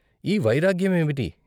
ఈ వైరాగ్య మేమిటి?